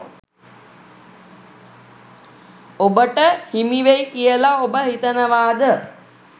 ඔබට හිමි වෙයි කියලා ඔබ හිතනවාද?